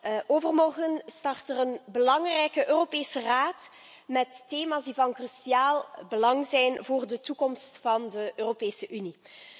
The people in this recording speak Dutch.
Voorzitter, overmorgen start een belangrijke Europese Raad met thema's die van cruciaal belang zijn voor de toekomst van de Europese Unie.